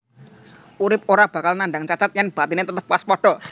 Urip ora bakal nandang cacat yèn batiné tetep waspada